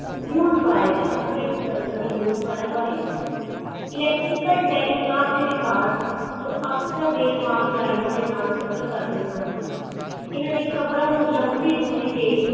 newswire ਅਗਰ ਅਸੀਂ ਗੱਲ ਕਰਾਂ ਗੇ newswire ਬਾਰੇ electrical telegraph ਦੇ ਵਿਕਾਸ ਜੋ ਅਕਸਰ ਰੇਲ ਮਾਰਗ ਲਾਈਨਾਂ ਦੇ ਨਾਲ ਸਫ਼ਰ ਕਰਦੇ ਹਨ ਇਨਾ ਨੇ ਖ਼ਬਰਾਂ ਨੂੰ ਲੰਬੀ ਦੂਰੀ ਤੇ